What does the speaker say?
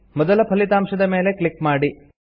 ಮೊದಲ ಫಲಿತಾಂಶದ ಮೇಲೆ ಕ್ಲಿಕ್ ಮಾಡಿ